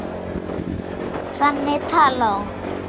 Þannig talaði hún.